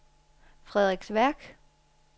Frederiksværk